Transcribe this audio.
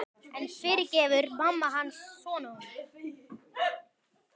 En fyrirgefur mamma hans honum?